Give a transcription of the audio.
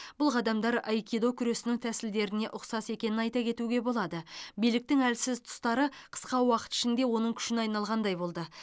бұл қадамдар айкидо күресінің тәсілдеріне ұқсас екенін айта кетуге болады биліктің әлсіз тұстары қысқа уақыт ішінде оның күшіне айналғандай болды